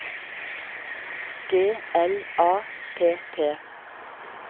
G L A P P